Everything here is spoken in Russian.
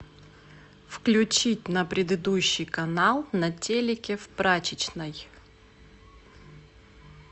включить на предыдущий канал на телике в прачечной